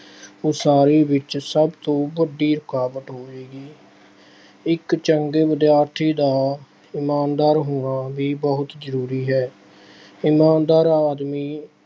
ਉਸਾਰੀ ਵਿੱਚ ਸਭ ਤੋਂ ਵੱਡੀ ਰੁਕਾਵਟ ਹੋਵੇਗੀ ਇੱਕ ਚੰਗੇ ਵਿਦਿਆਰਥੀ ਦਾ ਇਮਾਨਦਾਰ ਹੋਣਾ ਵੀ ਬਹੁਤ ਜ਼ਰੂਰੀ ਹੈ। ਇਮਾਨਦਾਰ ਆਦਮੀ